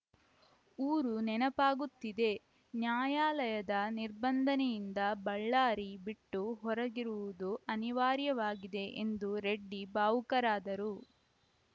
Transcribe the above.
ಊರು ನೆನಪಾಗುತ್ತಿದೆ ನ್ಯಾಯಾಲಯದ ನಿರ್ಬಂಧನೆಯಿಂದ ಬಳ್ಳಾರಿ ಬಿಟ್ಟು ಹೊರಗಿರುವುದು ಅನಿವಾರ್ಯವಾಗಿದೆ ಎಂದು ರೆಡ್ಡಿ ಭಾವುಕರಾದರು